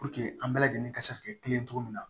an bɛɛ lajɛlen ka se ka kɛ kelen ye cogo min na